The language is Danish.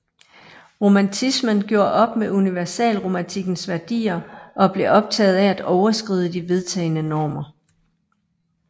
Romantismen gjorde op med universalromantikkens værdier og blev optaget af at overskride de vedtagne normer